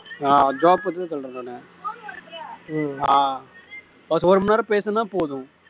ஆஹ் job பத்தி தான் சொல்றேன் நான் ஆஹ் ஒரு மணி நேரம் பேசணோம்னா போதும்